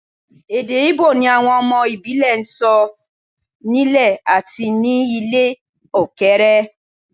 Èdè Íbò ni àwọn ọmọ ìbílẹ̀ ń sọ nílé àti ní ilẹ̀ òkèèrè